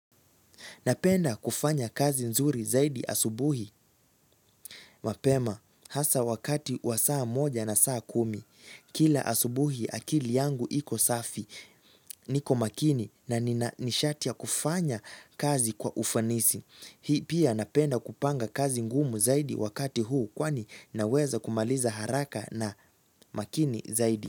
Napenda kufanya kazi nzuri zaidi asubuhi mapema hasa wakati wa saa moja na saa kumi kila asubuhi akili yangu iko safi niko makini nina nishati ya kufanya kazi kwa ufanisi. Hii pia napenda kupanga kazi ngumu zaidi wakati huu kwani naweza kumaliza haraka na makini zaidi.